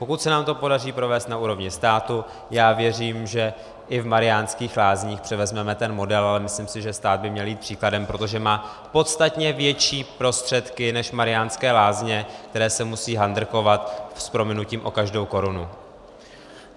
Pokud se nám to podaří provést na úrovni státu, já věřím, že i v Mariánských Lázních převezmeme ten model, ale myslím si, že stát by měl jít příkladem, protože má podstatně větší prostředky než Mariánské Lázně, které se musí handrkovat, s prominutím, o každou korunu.